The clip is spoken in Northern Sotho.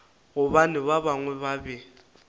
gobane ba bangwe ba be